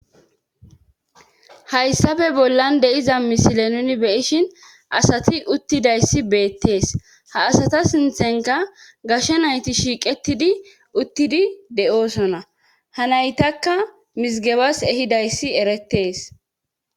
Hayssafe bollan deiza misile nuni beyishin asati uttidayssi beettees ha asata sinthenka gashe nayti shiiqetidi uttidi de7oosona hanaytakka misgebas ehidayssi eretees.